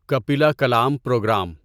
Kapila Kalam programme